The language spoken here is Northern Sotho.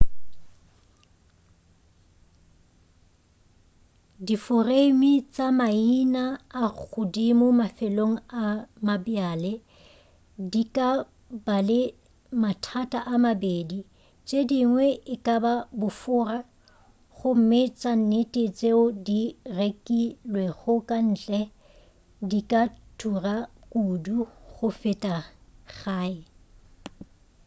diforeime tša maina a godimo mafelong a mabjale di ka ba le mathata a mabedi tšedingwe e kaba bofora gomme tša nnete tšeo di rekilwego ka ntle di ka thura kudu go feta gae